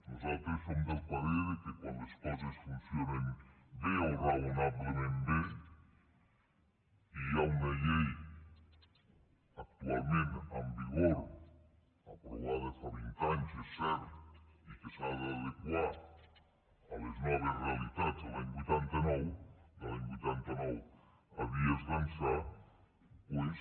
nosaltres som del parer que quan les coses funcionen bé o raonablement bé i hi ha una llei actualment en vigor aprovada fa vint anys és cert i que s’ha d’adequar a les noves realitats de l’any vuitanta nou de l’any vuitanta nou a dies d’ençà doncs